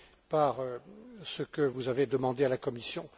par ce que vous avez demandé à la Commission.